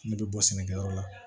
Ne bɛ bɔ sɛnɛkɛ yɔrɔ la